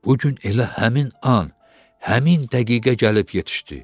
Bu gün elə həmin an, həmin dəqiqə gəlib yetişdi.